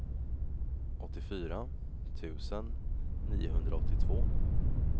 åttiofyra tusen niohundraåttiotvå